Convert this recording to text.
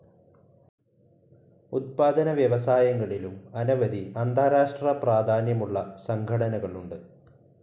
ഉത്പാദനവ്യവസായങ്ങളിലും അനവധി അന്താരാഷ്ട്ര പ്രാധാന്യമുള്ള സംഘടനകളുണ്ട്.